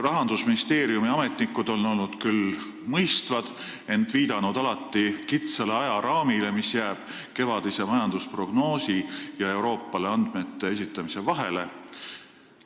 Rahandusministeeriumi ametnikud on olnud küll mõistvad, ent nad on viidanud alati kitsale ajaraamile, mis jääb kevadise majandusprognoosi ja Euroopale andmete esitamise vahele.